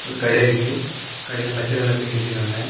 ஒரு கடை இருக்கு. கடையில பச்சை கலர் பெயிண்ட் அடிச்சு இருக்காங்க.